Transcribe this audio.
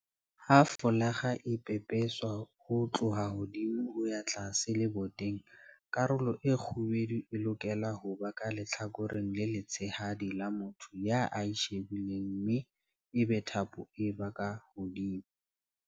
Ha folakga e pepeswa ho tloha hodimo ho ya tlase leboteng, karolo e kgubedu e lokela ho ba ka lehlakoreng le letshehadi la motho ya e shebileng mme ebe thapo e ba ka hodimo.